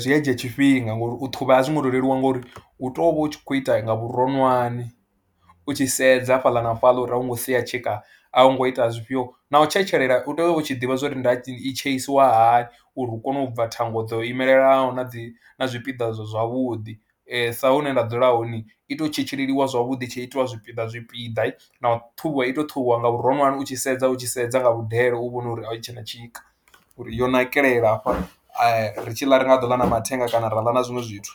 zwi a dzhia tshifhinga ngori u ṱhuvha a zwo ngo tou leluwa ngori u tou vha u tshi khou ita nga vhuronwane, u tshi sedza ha fhaḽa na fhaḽa uri a u ngo sia tshika, a u ngo ita zwifhio na u tshetshelela u tea u vha u tshi ḓivha zwo ri nda i tsheisiwa hani uri u kone u bva thango dzo imelelanaho na dzi na zwipiḓa zwavhuḓi sa hune nda dzula hone i tou tshetsheliwa zwavhuḓi ri tshi itiwa zwipiḓa zwipiḓa na ṱhuvhiwa i tou ṱhuvhiwa nga vhuronwane u tshi sedza u tshi sedza nga vhudele, u vhone uri a hu tshe na tshika uri yo nakelela hafha ri tshi ḽa a ri nga ḓo ḽa na mathenga kana ra ḽa na zwiṅwe zwithu.